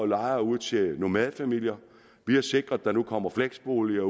lejer ud til nomadefamilier vi har sikret at der nu kommer fleksboliger